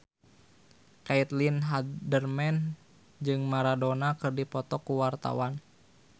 Caitlin Halderman jeung Maradona keur dipoto ku wartawan